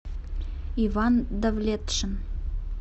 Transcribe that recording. иван давлетшин